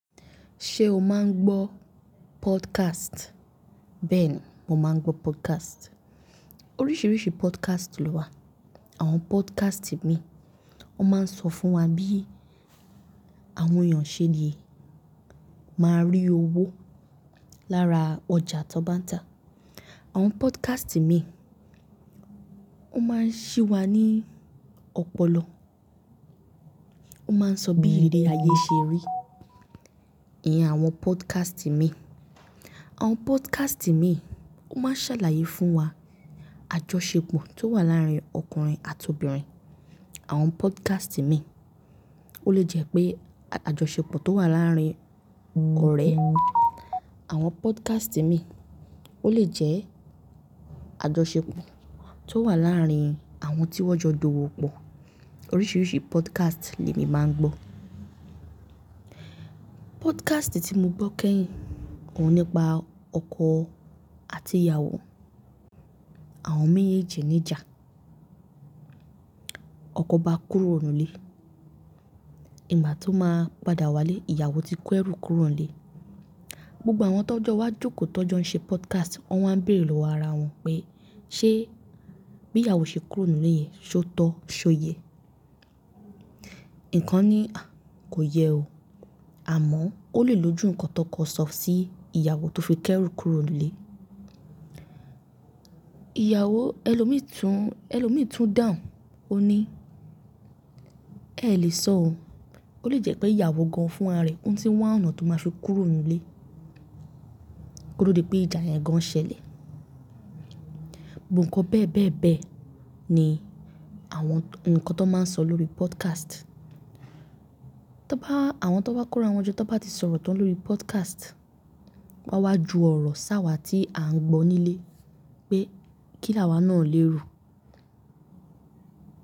Ṣé o máa ń gbọ́ podcast? Bẹ́ẹ̀ ni mo máa ń gbọ́ podcast. Oríṣiríṣi podcast ló wà. Àwọn podcast mìí, wọ́n máa ń sọ fún wa bí àwọn eeyàn ṣẹ́ le máa rí owó lára ọjà tó bá ń ta. Àwọn podcast mìí, wọ́n máa ń ṣí wa ní ọpọlọ. Wọ́n máa ń sọ bí iriri ayé ṣe rí iyen àwọn podcast mìí. Àwọn podcast mìí, wọ́n máa ń ṣàlàyé fún wa àjọṣepọ̀ tó wà láàárín ọkùnrin àti obìnrin. Àwọn podcast mìí, ó lè jẹ́ pé àjọṣepọ̀ tó wà láàárín ọ̀rẹ́. Àwọn podcast mìí, ó lè jẹ́ àjọṣepọ̀ tó wà láàárín àwọn tí wọ́n jọ d'owo pọ̀. Oríṣiríṣi podcast ni èmi máa ń gbọ́. Podcast tí mo gbọ́ kẹ́yìn òun nípa ọkọ àti ìyàwó. Àwọn méjèèjì ní ìjà. Ọkọ bá kúrò nínú ilé, ìgbà tó máa padà wá lé ìyàwó ti kọ ẹrú kúrò nílé. Gbogbo àwọn tó jọ wá jókòó tó jọ ń ṣe podcast wọ́n á ń bèrè lọ́wọ́ ara wọn pé ṣé bí ìyàwó ṣe kúrò nínú ilé yẹn, ṣé ó tọ́? Ṣé o yẹ? Ìkan ni, kò yẹ o. Àmọ́ ó lè loju nǹkan tó kọ sọ sí ìyàwó tó fi kẹ́rú kúrò nílé. Ìyàwó ẹlòmíràn tún, ẹlòmíràn tún dàhun. Ó ní kẹ́ ẹ lè sọ o. Ó lè jẹ́ pé ìyàwó gan-an fún ara rẹ̀ tí n wa onà tó máa fi kúrò nínú ilé. Ko to di pé ìjà yẹn gan-an ṣẹlẹ̀. Gbogbo nnkan bẹ́ẹ̀ bẹ́ẹ̀ bẹ́ẹ̀ ni àwọn ǹkan tó máa ń sọ lórí podcast. Tóbá àwọn tó bá kóra wọn jọ tóbá ti sọ̀rọ̀ tán lórí podcast, wá wá ju ọ̀rọ̀ sáwà tí à ń gbọ́ nílé pé kílàwá náà lé ro.